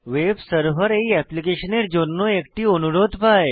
web server এই অ্যাপ্লিকেশনের জন্য একটি অনুরোধ পায়